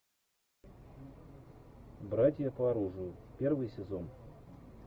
братья по оружию первый сезон